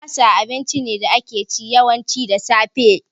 Masa abinci ne da ake ci, yawanci da safe